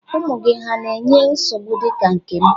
Ụmụ gị hà na-enye nsogbu dị ka nke m?